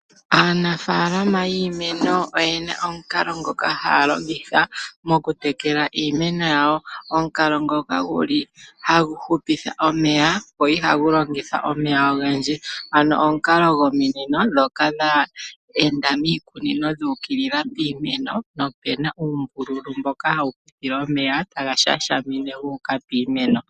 Aanafalama yiimeno oyena omukalo ngoka haya longitha mokutekela iimeno yawo. Omukalo ngoka guli hagu hupitha omeya go ihagu longitha omeya ogendji, ano omukalo gominino ndhoka dha enda miikunino dhuukilila piimeno nopena uumbululu mboka hawu pitile omeya ngoka taga shashamine gu uka piimeno.